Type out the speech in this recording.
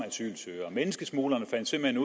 asylsøgere menneskesmuglerne fandt simpelt